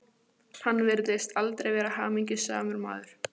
Hann virtist aldrei vera hamingjusamur maður.